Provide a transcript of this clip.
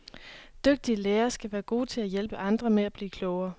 Dygtige lærere skal være gode til at hjælpe andre med at blive klogere.